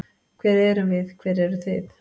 Hver erum við, hver eru þið?